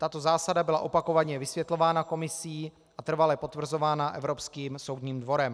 Tato zásada byla opakovaně vysvětlována Komisí a trvale potvrzována Evropským soudním dvorem.